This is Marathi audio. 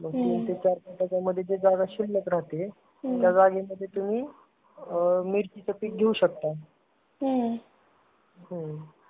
तीन ते चार फुटाचा मध्ये जी जागा शिल्लक राहते तर त्या लाईनीमधी तुम्ही मिरचीचे पीक घेऊ शकता. हम्म्म .